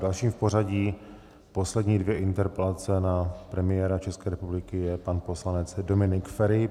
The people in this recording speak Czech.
Dalším v pořadí, poslední dvě interpelace na premiéra České republiky, je pan poslanec Dominik Feri.